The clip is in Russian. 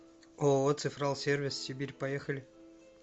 ооо цифрал сервис сибирь поехали